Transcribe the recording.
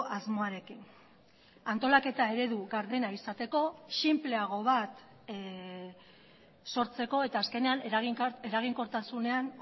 asmoarekin antolaketa eredu gardena izateko sinpleago bat sortzeko eta azkenean eraginkortasunean